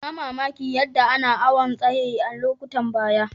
N'na mamaki yadda ana awon tsayi a'lokutan baya.